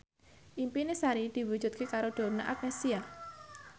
impine Sari diwujudke karo Donna Agnesia